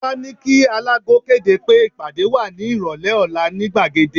Ọ̀ba ní kí alágo kéde pé ìpàdé wà ní ìrọ̀lẹ́ ọ̀la ní gbàgede